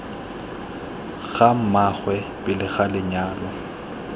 ga mmaagwe pele ga lenyalo